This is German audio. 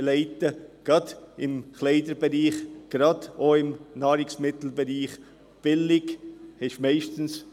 Gerade im Bereich Kleidung und im Nahrungsmittelbereich heisst billig meist: